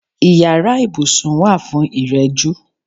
Ìyára ibùsùn wà fún ìrẹ̀jú.